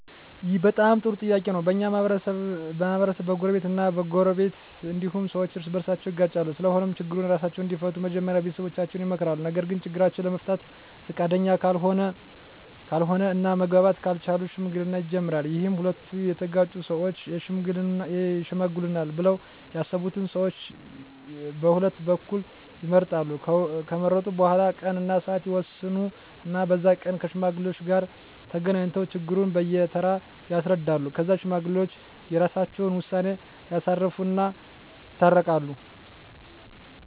ይህ በጣም ጥሩ ጥያቄ ነው በኛ ማህበረሰብ በጎረቤት እ በጎረቤት እንዲሁም ሠዎች እርስ በርሳቸው ይጋጫሉ ስለሆነም ችግሩን እራሳቸው እንዲፈቱ መጀመሪያ ቤተሠቦቻቸው ይመከራሉ ነገርግ ችግራቸውን ለመፍታት ፈቃደኛ ካልሆነ እና መግባባት ካልቻሉ ሽምግልና ይጀመራል ይህም ሁለቱ የተጋጩ ሠወች ይሽመግሉናል ብለው ያሠቡትን ሠዎች ቀሁለቱ በኩል ይመርጣሉ ከመረጡ በኋላ ቀን እና ስዓት ይወስኑ እና በዛ ቀን ከሽማግሌዎች ጋር ተገናኝተው ችግሩን በየ ተራ ያስረዳሉ ከዛ ሽማግሌዎች የራሰቸውን ውሳኔ ያሳርፉ እና ይታረቃሉ